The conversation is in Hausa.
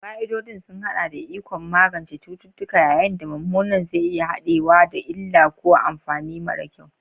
Fa'idodin sun haɗa da ikon magance cututtuka, yayin da mummunan zai iya haɗawa da illa ko amfani mara kyau.